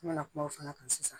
N mɛna kuma o fana kan sisan